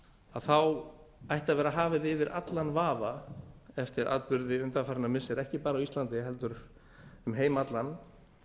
þá ætti að vera hafið yfir allan vafa eftir atburði undanfarinna missira ekki bara á íslandi heldur um heim allan